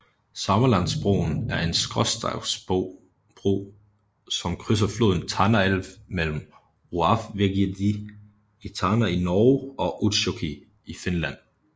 Samelandsbroen er en skråstagsbro som krydser floden Tanaelv mellem Roavvegieddi i Tana i Norge og Utsjoki i Finland